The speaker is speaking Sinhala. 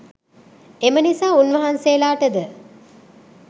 එම නිසා උන් වහන්සේලාටද